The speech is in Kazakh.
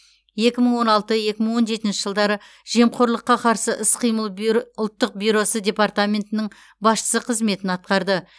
екі мың он алты екі мың он жетінші жылдары жемқорлыққа қарсы іс қимыл бюро ұлттық бюросы департаментінің басшысы қызметін атқарды